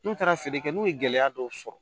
N'u taara feere kɛ n'u ye gɛlɛya dɔw sɔrɔ